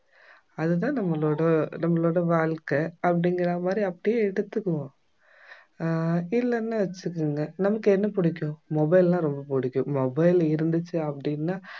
அது தான் நம்மளோட நம்மளோட வாழ்க்கை அப்படிங்கற மாதிரி அப்படியே எடுத்துக்குவோம் அஹ் இல்லன்னா வெச்சுக்கோங்க நமக்கு என்ன புடிக்கும் mobile னா ரொம்ப புடிக்கும் mobile இருந்துச்சு அப்படின்னா